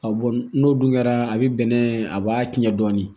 A bɔn n'o dun kɛra a bi bɛnɛ a b'a tiɲɛ dɔɔnin